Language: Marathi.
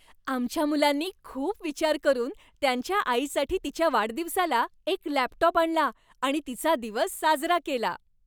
आमच्या मुलांनी खूप विचार करून त्यांच्या आईसाठी तिच्या वाढदिवसाला एक लॅपटॉप आणला आणि तिचा दिवस साजरा केला.